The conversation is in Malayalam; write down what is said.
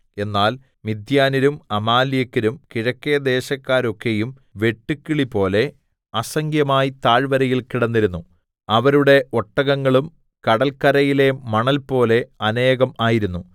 എന്നാൽ മിദ്യാന്യരും അമാലേക്യരും കിഴക്കെ ദേശക്കാരൊക്കെയും വെട്ടുക്കിളിപോലെ അസംഖ്യമായി താഴ്വരയിൽ കിടന്നിരുന്നു അവരുടെ ഒട്ടകങ്ങളും കടൽക്കരയിലെ മണൽപോലെ അനേകം ആയിരുന്നു